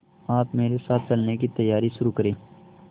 आप मेरे साथ चलने की तैयारी शुरू करें